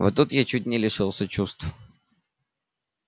вот тут я чуть не лишилась чувств